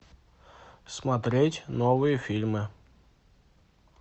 смотреть новые фильмы